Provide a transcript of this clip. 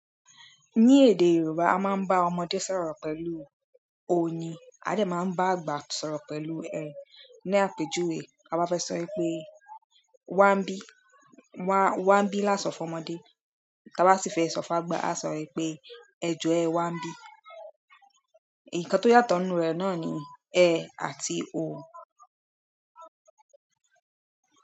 Ní èdè Yorùbá a máa ń bá ọmọdé sọ̀rọ̀ pẹ̀lú oyin a dẹ̀ ma ń bá àgbà sọ̀rọ̀ pẹ̀lú ẹ, ni apejuwe ta bá fẹ́ sọ pé, "wá ń bí" wá ń bí lásán fún ọmọdé. Tí a bá sì fẹ́ sọ fún àgba a sọ pé ẹjo ẹ wá ń bí. Ǹkan tó yàtọ̀ nínú rẹ̀ náà ni ẹ àti o.